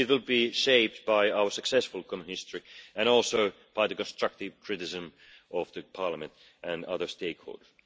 It will be shaped by our successful common history and also by constructive criticism from Parliament and other stakeholders.